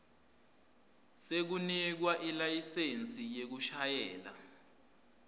sekunikwa ilayisensi yekushayela